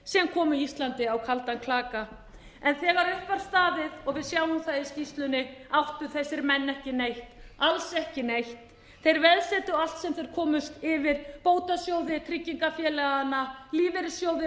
sem komu íslandi á kaldan klaka en þegar upp var staðið og við sjáum það í skýrslunni áttu þessir menn ekki neitt alls ekki neitt þeir veðsettu allt sem þeir komust yfir bótasjóði tryggingafélaganna lífeyrissjóði landsmanna þeir voru á góðri leið með